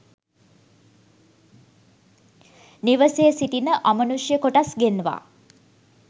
නිවසේ සිටින අමනුෂ්‍ය කොටස් ගෙන්වා